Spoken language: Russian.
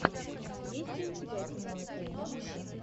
есть ли у тебя тимон и пумба